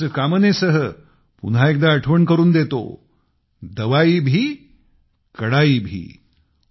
याच कामनेसह पुन्हा एकदा आठवण करून देतो दवाई भी कड़ाई भी